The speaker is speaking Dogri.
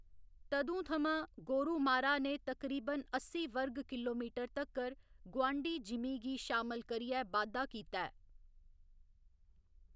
तदूं थमां, गोरुमारा ने तकरीबन अस्सी वर्ग किलोमीटर तक्कर गुआंढी जिमीं गी शामल करियै बाद्धा कीता ऐ।